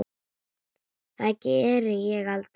Það geri ég aldrei